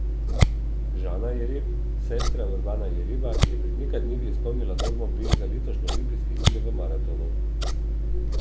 Žana Jereb, sestra Urbana Jereba, je pred nekaj dnevi izpolnila normo B za letošnje olimpijske igre v maratonu.